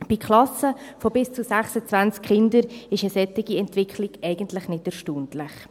Bei Klassen mit bis zu 26 Kindern ist eine solche Entwicklung eigentlich nicht erstaunlich.